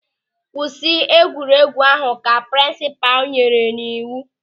"Kwụsị egwuregwu ahụ" ka prinsipal nyere n'iwu.